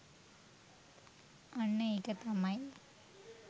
අන්න ඒක තමයි